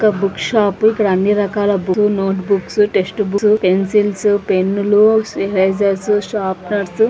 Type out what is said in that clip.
ఇది ఒక book shop ఇక్కడ అన్ని రకాల books notebooks textbooks pencils పెన్నులు అరెసెర్ షార్పెనేర్స్ --